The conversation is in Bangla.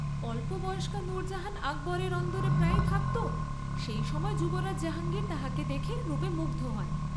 "অল্পবয়স্কা নূরজাহান আকবরের অন্দরে প্রায়ই থাকত, সেই সময় যুবরাজ জাহাঙ্গীর তাহাকে দেখে রূপে মুগ্ধ হন।